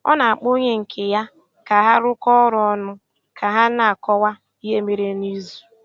Ọ na-akpọ onye nke ya ka ha rụkọ ọrụ ọnụ ka ha na-akọwa ihe mere n’izu.